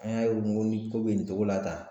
An y'a ye ko ni ko bɛ nin cogo la tan